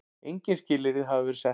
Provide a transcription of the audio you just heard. Engin skilyrði hafi verið sett.